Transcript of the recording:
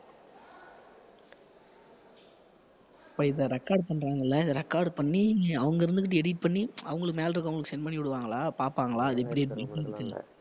இப்ப இதை record பண்றாங்கள்ல இதை record பண்ணி அவங்க இருந்துகிட்டு edit பண்ணி அவங்களுக்கு மேல இருக்கிறவங்களுக்கு send பண்ணி விடுவாங்களா பார்ப்பாங்களா அது எப்படி இருக்குன்னு